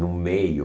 No meio.